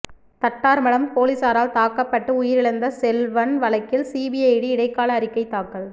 தட்டார்மடம் போலீசாரால் தாக்கப்பட்டு உயிரிழந்த செல்வன் வழக்கில் சிபிசிஐடி இடைக்கால அறிக்கை தாக்கல்